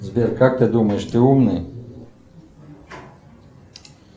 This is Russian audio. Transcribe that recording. сбер как ты думаешь ты умный